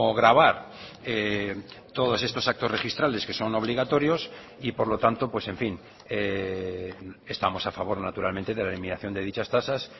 grabar todos estos actos registrales que son obligatorios y por lo tanto pues en fin estamos a favor naturalmente de la eliminación de dichas tasas